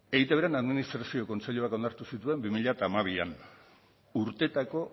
eitbren administrazio kontseiluak onartu zituen bi mila hamabian urteetako